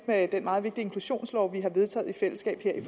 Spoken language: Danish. med den meget vigtige inklusionslov vi har vedtaget i fællesskab her i